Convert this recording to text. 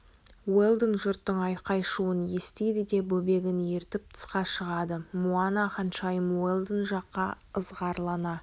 уэлдон жұрттың айқай-шуын естиді де бөбегін ертіп тысқа шығады муана патшайым уэлдон жаққа ызғарлана